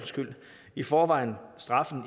i forvejen straffen